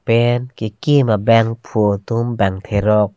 pen kekim abangphu atum bang therok.